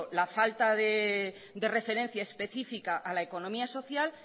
la falta de referencia específica a la economía social